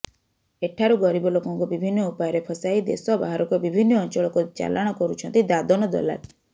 ଏଠାରୁ ଗରିବ ଲୋକଙ୍କୁ ବିଭିନ୍ନ ଉପାୟରେ ଫସାଇ ଦେଶ ବାହାରକୁ ବିଭିନ୍ନ ଅଞ୍ଚଳକୁ ଚାଲାଣ କରୁଛନ୍ତି ଦାଦନ ଦଲାଲ